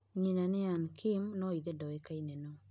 Nyĩna nĩ Anna Kim nũ ithe duĩkaine nũ.